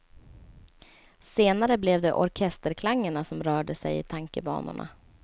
Senare blev det orkesterklangerna som rörde sig i tankebanorna.